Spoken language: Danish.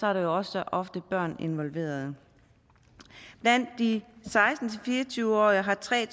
er der jo også ofte børn involveret blandt de seksten til fire og tyve årige har tre